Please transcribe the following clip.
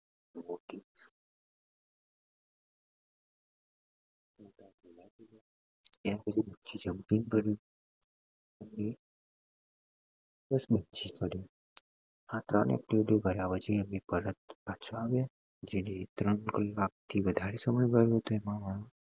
એ પછી bungee jumping કર્યું આ જેને ત્રણ કલાક થી વધારે સમય ગયો હશે